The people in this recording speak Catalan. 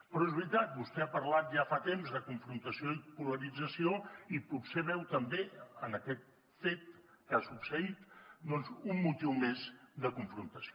però és veritat vostè ha parlat ja fa temps de confrontació i polarització i potser veu també en aquest fet que ha succeït doncs un motiu més de confrontació